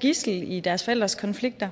gidsler i deres forældres konflikter